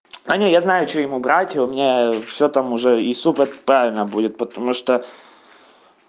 аня я знаю что ему брать у меня все там уже и супер правильно будет потому что